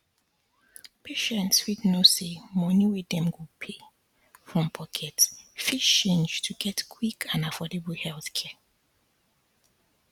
patients fit know say money wey dem go pay um from pocket fit change to get quick and affordable healthcare